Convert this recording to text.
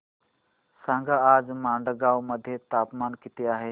सांगा आज मडगाव मध्ये तापमान किती आहे